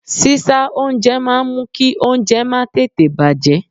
Sísá oúnjẹ máa ń mú kí oúnjẹ má tètè bàjẹ́.